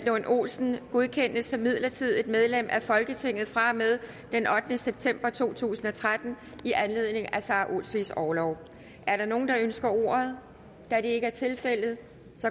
lund olsen godkendes som midlertidigt medlem af folketinget fra og med den ottende september to tusind og tretten i anledning af sara olsvigs orlov er der nogen der ønsker ordet da det ikke er tilfældet